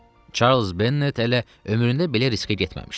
Charles Bennet hələ ömründə belə riskə getməmişdi.